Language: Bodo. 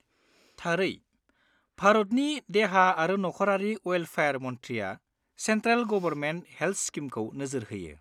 थारै। भारतनि देहा आरो नखरारि वेल्फेयार मन्थ्रिया सेन्ट्रेल गबरमेन्ट हेल्ट स्किमखौ नोजोर होयो।